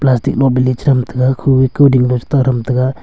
plastic lo bele chI tham taga khu ee kuding le chI ta tham taga.